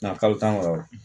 Nga kalo tan wɔɔrɔ